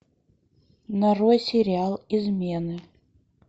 нарой сериал измены